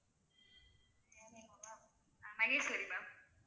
ஆஹ் Maheswari ma'am